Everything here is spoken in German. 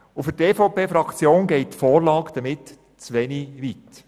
Für die EVP-Fraktion geht die Vorlage zu wenig weit.